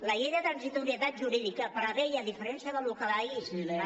la llei de transitorietat jurídica preveia a diferència del que ahir